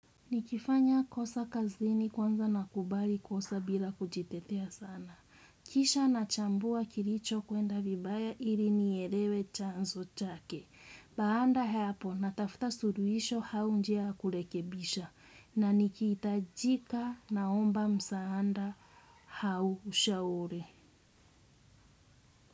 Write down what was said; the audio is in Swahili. Nikifanya kosa kazini kwanza nakubali kosa bila kujitetea sana. Kisha nachambua kilichokwenda vibaya ili nielewe chanzo chake. Baanda haapo natafuta suluhisho au njia ya kurekebisha na nikihitajika naomba msaanda au ushauri.